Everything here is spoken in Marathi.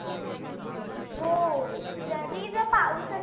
हो. जरी पाऊस असला.